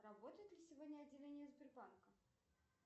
работает ли сегодня отделение сбербанка